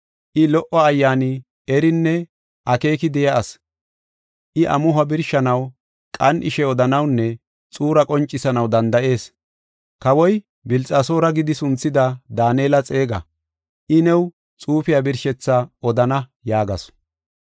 I, lo77o ayyaani, erinne akeeki de7iya ase. I amuho birshanaw, qan7ishe odanawunne xuura qoncisanaw danda7ees. Kawoy Bilxasoora gidi sunthida Daanela xeega. I new xuufiya birshethaa odana” yaagasu.